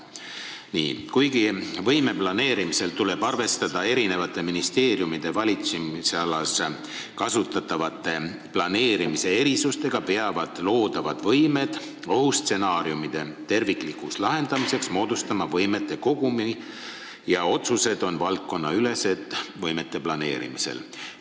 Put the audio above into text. Kuigi konkreetse võime planeerimisel tuleb arvestada eri ministeeriumite valitsemisalas tehtava planeerimistöö erisustega, peavad loodavad võimed ohustsenaariumite tervikliku lahenduse huvides moodustama võimete kogumi ja otsused võimete planeerimisel on valdkonnaülesed.